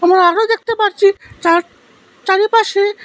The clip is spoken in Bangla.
আরো দেখতে পাচ্ছি চার চারিপাশে--